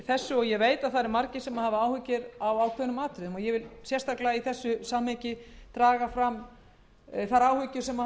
þessu máli og ég veit að margir hafa áhyggjur af ákveðnum atriðum ég vil sérstaklega í því samhengi draga fram þær áhyggjur sem